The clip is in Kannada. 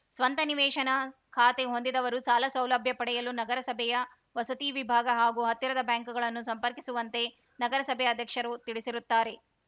ಸ್ವಂತ ನಿವೇಶನ ಖಾತೆ ಹೊಂದಿದವರು ಸಾಲ ಸೌಲಭ್ಯ ಪಡೆಯಲು ನಗರಸಭೆಯ ವಸತಿ ವಿಭಾಗ ಅಥವಾ ಹತ್ತಿರದ ಬ್ಯಾಂಕ್‌ಗಳನ್ನು ಸಂಪರ್ಕಿಸುವಂತೆ ನಗರಸಭೆ ಅಧ್ಯಕ್ಷರು ತಿಳಿಸಿರುತ್ತಾರೆ